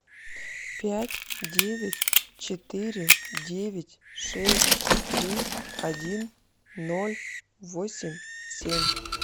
пять девять четыре девять шесть три один ноль восемь семь